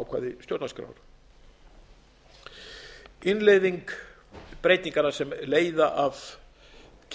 ákvæði stjórnarskrár innleiðing breytinganna sem leiða af